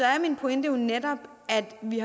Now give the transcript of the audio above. er min pointe jo netop at vi